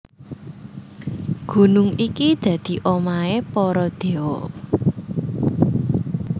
Gunung iki dadi omahé para déwa